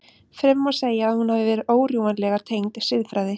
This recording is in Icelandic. Fremur má segja að hún hafi verið órjúfanlega tengd siðfræði.